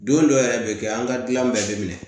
Don dɔ yɛrɛ bɛ kɛ an ka dilan bɛɛ bɛ minɛ